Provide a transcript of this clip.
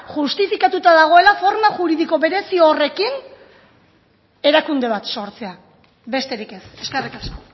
justifikatuta dagoela forma juridiko berezi horrekin erakunde bat sortzea besterik ez eskerrik asko